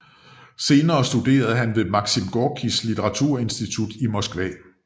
Senere studerede han ved Maxim Gorkij Literaturinstitutet i Moskva